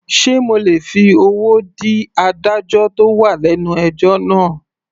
Sé mo lè fi owó dí adájọ́ tó wà lẹ́nu ẹjọ́ náà.